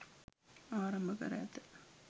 ආරම්භ කර ඇත.